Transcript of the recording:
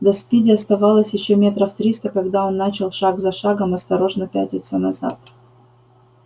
до спиди оставалось ещё метров триста когда он начал шаг за шагом осторожно пятиться назад